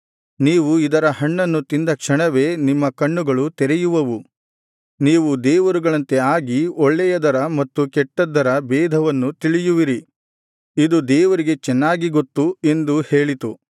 ನೀವು ಇದರ ಹಣ್ಣನ್ನು ತಿಂದ ಕ್ಷಣವೇ ನಿಮ್ಮ ಕಣ್ಣುಗಳು ತೆರೆಯುವವು ನೀವು ದೇವರುಗಳಂತೆ ಆಗಿ ಒಳ್ಳೆಯದರ ಮತ್ತು ಕೆಟ್ಟದ್ದರ ಬೇಧವನ್ನು ತಿಳಿಯುವಿರಿ ಇದು ದೇವರಿಗೆ ಚೆನ್ನಾಗಿ ಗೊತ್ತು ಎಂದು ಹೇಳಿತು